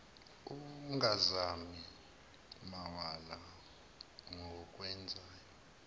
ungazami mawala kokwenzayo